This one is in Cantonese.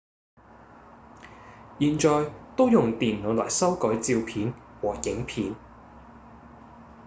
現在都用電腦來修改照片和影片